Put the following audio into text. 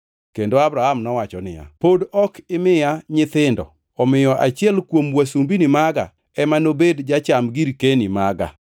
Kendo Abram nowacho niya, “Pod ok imiya nyithindo; omiyo achiel kuom wasumbini maga ema nobed jacham girkeni maga.”